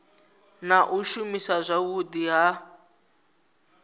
na u shumiswa zwavhudi ha